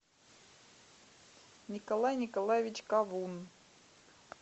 николай николаевич ковун